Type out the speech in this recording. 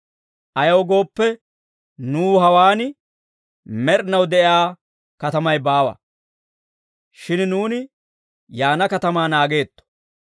Ayaw gooppe, nuw hawaan med'inaw de'iyaa katamay baawa; shin nuuni yaana katamaa naageetto.